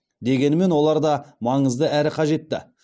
дегенмен олар да маңызды әрі қажетті